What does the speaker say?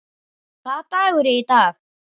Hvaða dagur er í dag?